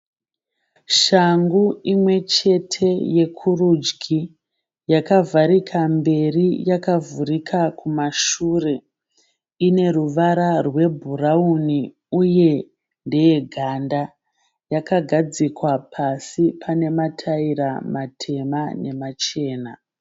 Shangu imwechete yekurudyi. Yakavharika mberi yakavhurika kumashure. Ine ruvara rwebhurauni uye ndeyeganda. Yakagadzikwa pasi pane mataira matema nemachena.